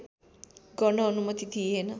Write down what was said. गर्न अनुमति दिइएन